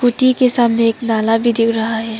Scooty के सामने एक नाला भी गिर रहा है।